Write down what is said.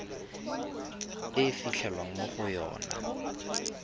e fitlhelwang mo go yona